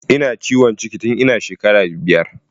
Ina ciwon ciki tun ina shekara biyar